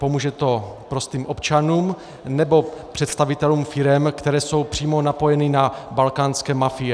Pomůže to prostým občanům, nebo představitelům firem, které jsou přímo napojeny na balkánské mafie?